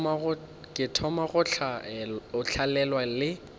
ke thoma go tlalelwa le